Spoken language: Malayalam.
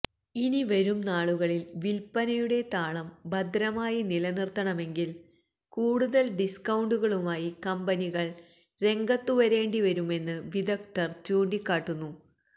ഇനിവരും നാളുകളില് വില്പനയുടെ താളം ഭദ്രമായി നിലനിര്ത്തണമെങ്കില് കൂടുതല് ഡിസ്കൌണ്ടുകളുമായി കമ്പനികള് രംഗത്തു വരേണ്ടി വരും എന്ന് വിദഗ്ധര് ചൂണ്ടിക്കാട്ടുന്നു